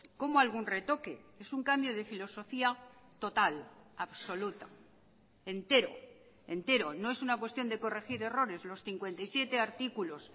cómo algún retoque es un cambio de filosofía total absoluta entero entero no es una cuestión de corregir errores los cincuenta y siete artículos